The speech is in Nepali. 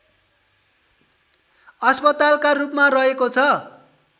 अस्पतालका रूपमा रहेको छ